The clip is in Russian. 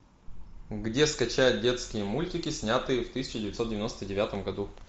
где скачать детские мультики снятые в тысяча девятьсот девяносто девятом году